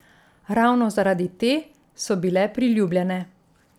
Ravno zaradi te so bile priljubljene.